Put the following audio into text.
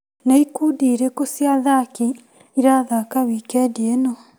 Nĩ ikundi irĩkũ cia athaki irathaka wikendi ĩno ?